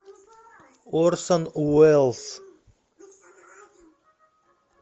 орсон уэллс